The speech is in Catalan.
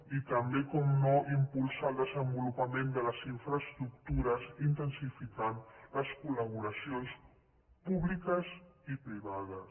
i també com no impulsar el desenvolupament de les infraes·tructures intensificant les col·laboracions públiques i privades